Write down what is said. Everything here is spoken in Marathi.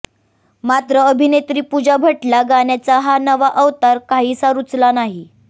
मात्र अभिनेत्री पूजा भट्टला गाण्याचा हा नवा अवतार काहीसा रुचला नाही